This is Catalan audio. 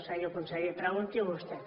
senyor conseller pregunti ho vostè